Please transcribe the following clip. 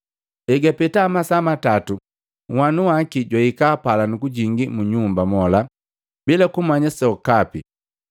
Egapeta masaa matatu nhwanu waki jwahika pala nukujingi mu nyumba mola bila kumanya sokapi.